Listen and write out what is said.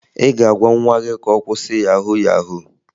Ị ga-agwa nwa gị ka ọ kwụsị yahu yahu?